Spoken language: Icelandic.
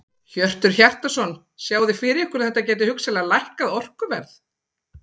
Hjörtur Hjartarson: Sjáið þið fyrir ykkur að þetta gæti hugsanlega lækkað orkuverð?